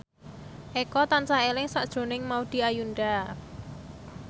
Eko tansah eling sakjroning Maudy Ayunda